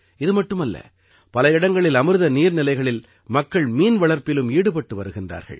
இது மட்டுமல்ல பல இடங்களில் அமிர்த நீர்நிலைகளில் மக்கள் மீன்வளர்ப்பிலும் ஈடுபட்டு வருகின்றார்கள்